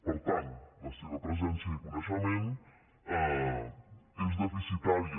per tant la seva presència i coneixement són deficitaris